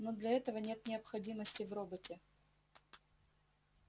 но для этого нет необходимости в роботе